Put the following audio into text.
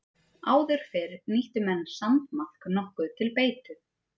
Áður fyrr nýttu menn sandmaðk nokkuð til beitu.